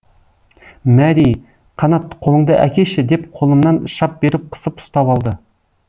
мәри қанат қолыңды әкеші деп қолымнан шап беріп қысып ұстап алды